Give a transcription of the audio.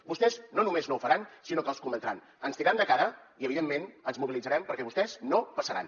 vostès no només no ho faran sinó que els cometran ens tindran de cara i evidentment ens mobilitzarem perquè vostès no passaran